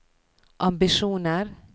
ambisjoner